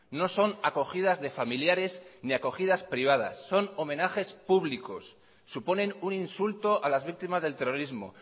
no son acogidas de familiares ni acogidas privadas son homenajes públicos suponen un insulto a las víctimas del terrorismo